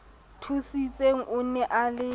thusitseng o ne a le